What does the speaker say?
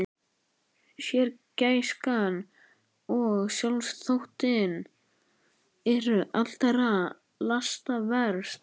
Sérgæskan og sjálfsþóttinn eru allra lasta verst.